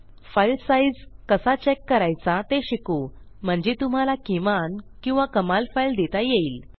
file size कसा check करायचा ते शिकू म्हणजे तुम्हाला किमान किंवा कमाल फाईल देता येईल